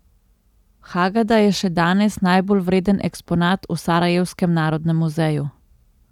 Hagada je še danes najbolj vreden eksponat v sarajevskem narodnem muzeju.